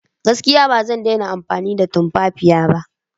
Gaskiya! Ba zan iya daina amfani da tumfafiya ba.